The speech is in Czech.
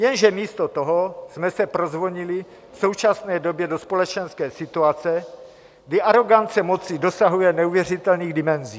Jenže místo toho jsme se prozvonili v současné době do společenské situace, kdy arogance moci dosahuje neuvěřitelných dimenzí.